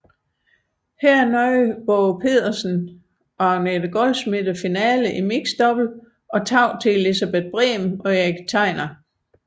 Her nåede Waagepetersen og Agnete Goldschmidt finalen i mixed double og tabte til Elsebeth Brehm og Erik Tegner